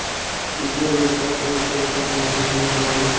Gísli: Eruð þið í stakk búnir til að taka á móti þessum mikla mannfjölda?